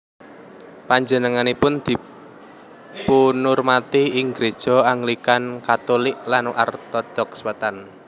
Panjenenganipun dipunurmati ing gréja Anglikan Katulik lan Ortodoks Wétan